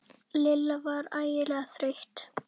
Lilla var ægilega þreytt.